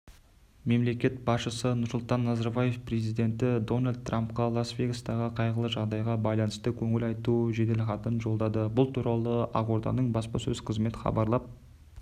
мемлекет басшысы нұрсұлтан назарбаев президенті дональд трампқа лас-вегастағы қайғылы жағдайға байланысты көңіл айту жеделхатын жолдады бұл туралы ақорданың баспасөз қызметі хабарлап